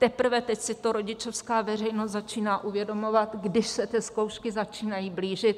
Teprve teď si to rodičovská veřejnost začíná uvědomovat, když se ty zkoušky začínají blížit.